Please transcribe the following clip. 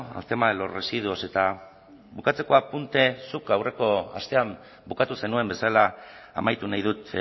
al tema de los residuos eta bukatzeko apunte zuk aurreko astean bukatu zenuen bezala amaitu nahi dut